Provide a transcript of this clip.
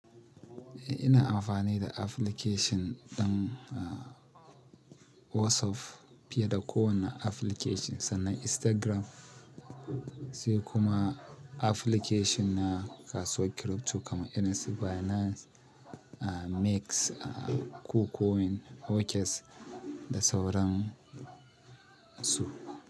Eh ina amfani da application ɗin a WhatsApp fiye da kowane application sannan Instagram sai kuma application na kasuwar crypto kamar irin su Binance, a Mexc, a Kucoin, OKX da sauran su.